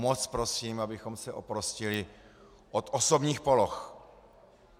Moc prosím, abychom se oprostili od osobních poloh.